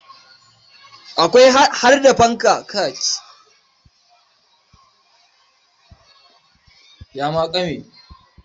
Akwai har da fanka a shagon askin.